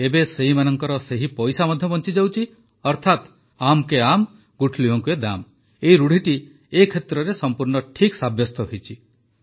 ଏବେ ସେମାନଙ୍କ ସେହି ପଇସା ମଧ୍ୟ ବଞ୍ଚିଯାଉଛି ଅର୍ଥାତ ଆମ୍ କେ ଆମ୍ ଗୁଠଲିୟୋଁ କେ ଦାମ୍ ରୁଢ଼ିଟି ଏ କ୍ଷେତ୍ରରେ ସଂପୂର୍ଣ୍ଣ ଠିକ୍ ସାବ୍ୟସ୍ତ ହୋଇଛି